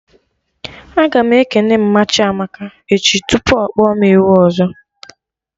Aga m ekene mma Chiamaka echi tupu ọkpọ mụ ewu ọzọ